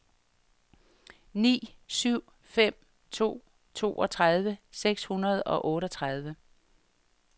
ni syv fem to toogtredive seks hundrede og otteogtredive